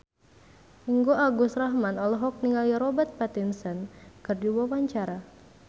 Ringgo Agus Rahman olohok ningali Robert Pattinson keur diwawancara